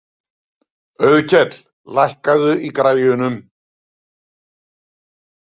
Auðkell, lækkaðu í græjunum.